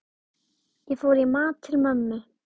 Ég fór í mat til mömmu.